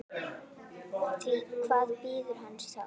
Því hvað bíður hans þá?